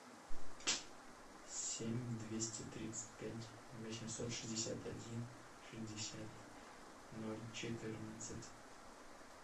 семь двести тридцать пять восемьсот шестьдесят один шестьдесят ноль четырнадцать